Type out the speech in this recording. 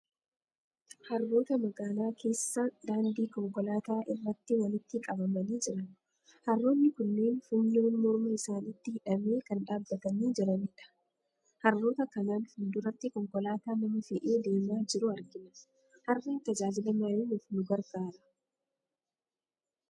Harroota magaalaa keessa daandii konkolaataa irratti walitti qabamanii jiran. Harroonni kunneen funyoon morma isaaniitti hidhamee kan dhaabbatanii jiranidha. Harroota kanaan fuul-duratti konkolaataa nama fe'ee deemaa jiru argina. Harreen tajaajila maalii nuuf nu gargaara?